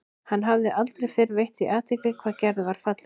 Hann hafði aldrei fyrr veitt því athygli hvað Gerður var falleg.